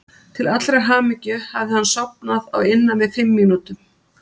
Til allrar hamingju hafði hann sofnað á innan við fimm mínútum.